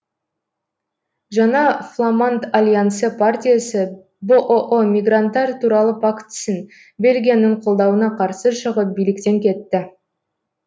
жаңа фламанд альянсы партиясы бұұ мигранттар туралы пактісін бельгияның қолдауына қарсы шығып биліктен кетті